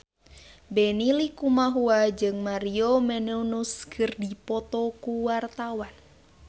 Benny Likumahua jeung Maria Menounos keur dipoto ku wartawan